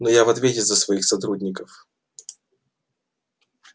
но я в ответе за своих сотрудников